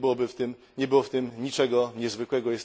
Nie było w tym niczego niezwykłego.